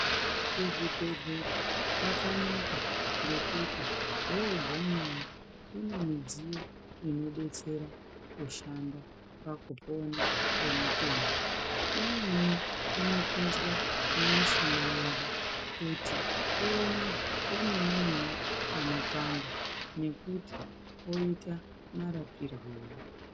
Kuzvibhehlera kwakanaka ngekuti wogumeyo kune midziyo inodetsera kushanda pakupona kwemutenda. Imweni inopinzwa mumishuna medu kuti ione pemenemene panopanda nekuti poita marapirwei.